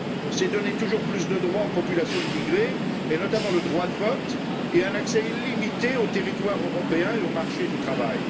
C'est donner toujours plus de droits aux populations immigrées, et notamment le droit de vote, et un accès illimité au territoire européen et au marché du travail.